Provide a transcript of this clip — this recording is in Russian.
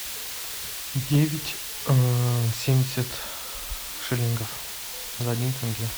девять семьдесят шиллингов за один тенге